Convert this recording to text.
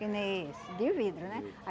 Que nem esse, de vidro, né?